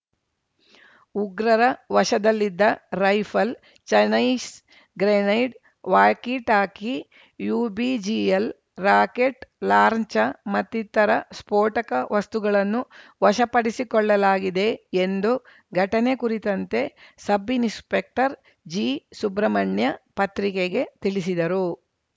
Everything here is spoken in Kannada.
ಉಗ್ರರ ವಶದಲ್ಲಿದ್ದ rifle ಚನೈಸ್‌ grenade walkie-talkie UBGL rocket ಲಾಂರ್ನ್ಚಾ ಮತ್ತಿತರ ಸ್ಫೋಟಕ ವಸ್ತುಗಳನ್ನು ವಶಪಡಿಸಿಕೊಳ್ಳಲಾಗಿದೆ ಎಂದು ಘಟನೆ ಕುರಿತಂತೆ ಸಬ್‌ಇನ್‌ಸ್ಪೆಕ್ಟರ್‌ ಜಿಸುಬ್ರಹ್ಮಣ್ಯ ಪತ್ರಿಕೆಗೆ ತಿಳಿಸಿದರು